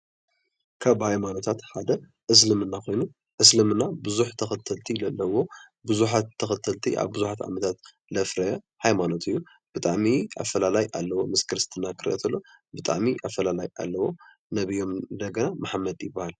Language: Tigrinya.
ካብ ሃይማኖታት ሓደ እስልምና ኮይኑ እስልምና ብዙሕ ተከተልቲ ዘለዎ ቡዙሓት ተከተልቲ ኣብ ብዙሓት ዓመታት ዘፍረየ ሃይማኖት እዩ። ብጣዕሚ ኣፈላላይ ኣለዎ ምስ ክርስትና ክረአ ከሎ ብጣዕሚ ኣፈላላይ ኣለዎ። ነብዮም እንደገና መሓመድ ይበሃል።